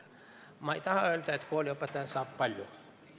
Ma ei taha öelda, et kooliõpetaja saab palju.